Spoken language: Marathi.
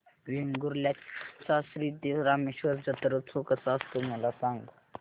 वेंगुर्ल्या चा श्री देव रामेश्वर जत्रौत्सव कसा असतो मला सांग